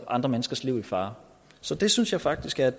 andre menneskers liv i fare så det synes jeg faktisk er